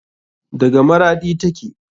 Daga maraɗi take.